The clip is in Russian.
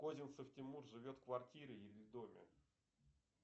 козинцев тимур живет в квартире или в доме